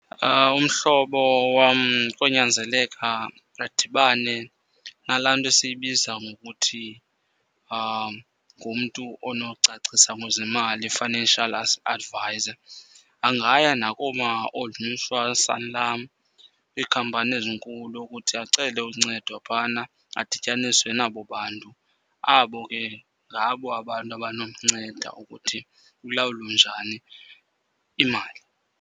Umhlobo wam konyanzeleka adibane nalaa nto esiyibiza ngokuthi ngumntu onocacisa ngezemali, i-financial advisor. Angaya nakoomaOld Mutual, Sanlam, iikhampani ezinkulu ukuthi acele uncedwa phana adityaniswe nabo bantu. Abo ke ngabo abantu abanomnceda ukuthi ilawulwe njani imali.